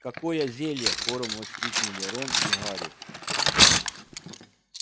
какое зелье хором воскликнули рон и гарри